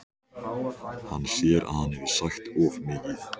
Hann sér að hann hefur sagt of mikið.